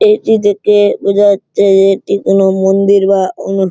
এটি দেখে বোঝা যাচ্ছে যে এটি কোন মন্দির বা কোনো--